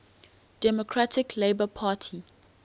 democratic labour party